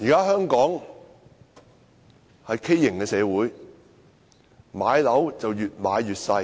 香港現時是一個畸形的社會，房子越買越小。